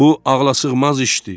Bu ağlasığmaz işdir.